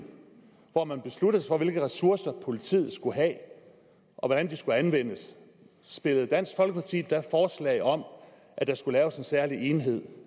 hvor man besluttede sig for hvilke ressourcer politiet skulle have og hvordan de skulle anvendes stillede dansk folkeparti da forslag om at der skulle laves en særlig enhed